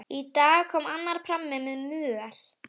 Í dag kom annar prammi með möl.